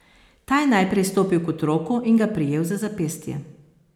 Ta je najprej stopil k otroku in ga prijel za zapestje.